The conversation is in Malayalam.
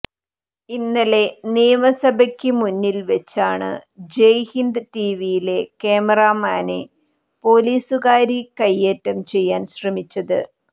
ഇന്നലെ നിയമസഭയ്ക്ക് മുന്നില് വെച്ചാണ് ജയ്ഹിന്ദ് ടിവിയിലെ ക്യാമാറാമാനെ പൊലീസുകാരി കൈയേറ്റം ചെയ്യാൻ ശ്രമിച്ചത്